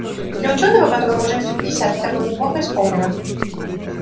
для учёного которому уже за пятьдесят это было неплохо исполнено